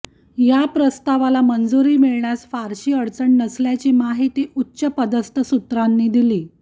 या प्रस्तावाला मंजुरी मिळण्यास फारशी अडचण नसल्याची माहिती उच्चपदस्थ सूत्रांनी दिली